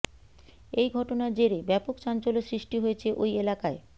এই ঘটনার জেরে ব্যাপক চাঞ্চল্য সৃষ্টি হয়েছে ওই এলাকায়